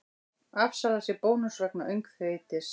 Afsalar sér bónus vegna öngþveitis